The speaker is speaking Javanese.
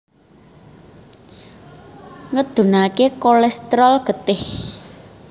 Ngedhunaké kolèsterol getih